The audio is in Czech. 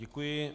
Děkuji.